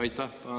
Aitäh!